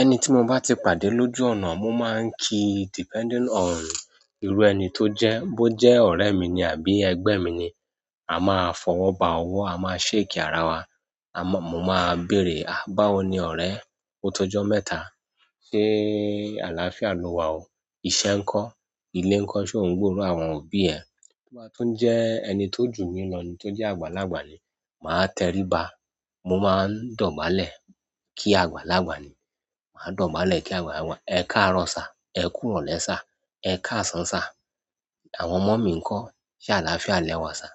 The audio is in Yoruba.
Ẹni tí mo bá ti pàdé lójú ọ̀nà, mo máa ń kí depending on irú ẹni tó jẹ́, bó jẹ́ ọ̀rẹ́ mi ni àbí ẹgbẹ́ mi ni. A máa fọwọ́ ba ọwọ́, a máa shake ara wa, mo máa béèrè, "àbáwo ni ọ̀rẹ́? O tó ọjọ́ mẹ́ta. Ṣe àlàáfíà lo wà o?" Ìṣe ńkọ́? Ilé ńkọ́, ṣe ò ń gbòòrò àwọn òbí ẹ? Tó bá tún jẹ́ ẹni tó jù mí lọ ni tó jẹ́ àgbàlagbà ni, màá tẹrí ba. Mo máa ń dọ̀bálẹ̀ kí àgbàlagbà ni. Màá dọ̀bálẹ̀ kí àgbàlagbà. Ẹ káàárọ̀ sa, ẹ kúròlẹ́ sa, ẹ káàsán sa. Àwọn ọmọ mi ńkọ́? Ṣe àlàáfíà lẹ wà sa?